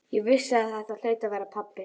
Ég vissi að þetta hlaut að vera pabbi.